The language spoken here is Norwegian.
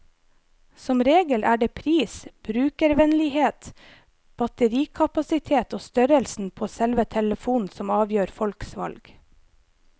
Som regel er det pris, brukervennlighet, batterikapasitet og størrelsen på selve telefonen som avgjør folks valg.